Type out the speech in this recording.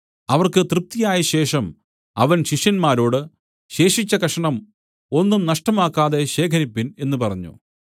അവർക്ക് തൃപ്തിയായശേഷം അവൻ ശിഷ്യന്മാരോട് ശേഷിച്ച കഷണം ഒന്നും നഷ്ടമാക്കാതെ ശേഖരിപ്പിൻ എന്നു പറഞ്ഞു